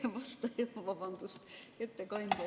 Oi vastupidi, vabandust, ettekandja!